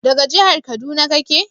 daga jihar kaduna kake?